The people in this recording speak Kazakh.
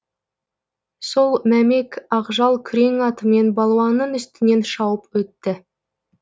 сол мәмек ақжал күрең атымен балуанның үстінен шауып өтті